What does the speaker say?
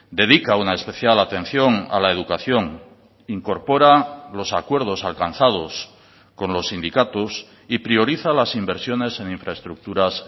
dedica una especial atención a la educación incorpora los acuerdos alcanzados con los sindicatos y prioriza las inversiones en infraestructuras